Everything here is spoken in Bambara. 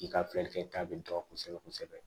I ka filɛli kɛta bɛ dɔn kosɛbɛ kosɛbɛ